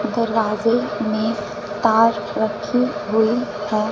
तलाजु में तार रखी हुई है।